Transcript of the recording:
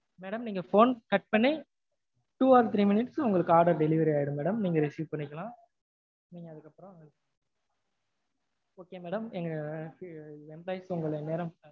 madam நீங்க phone cut பண்ணி two to three minutes ல உங்களுக்கு order delivery ஆயிரும் madam நீங்க receive பண்ணிக்கலாம் okay madam. எங்க employee